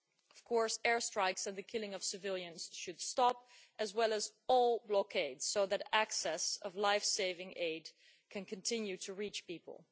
Of course, airstrikes and the killing of civilians should stop, as well as all blockades, so that lifesaving aid can continue to reach people.